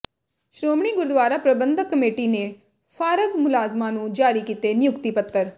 Shiromani Gurdwara Parbandhak committee ਨੇ ਫਾਰਗ ਮੁਲਾਜ਼ਮਾਂ ਨੂੰ ਜਾਰੀ ਕੀਤੇ ਨਿਯੁਕਤੀ ਪੱਤਰ